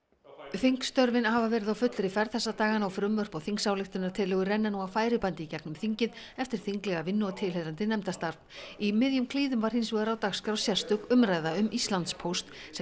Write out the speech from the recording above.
þingstörfin hafa verið á fullri ferð þessa dagana og frumvörp og þingsályktunartillögur renna nú á færibandi í gegnum þingið eftir þinglega vinnu og tilheyrandi nefndastarf í miðjum klíðum var hins vegar á dagskrá sérstök umræða um Íslandspóst sem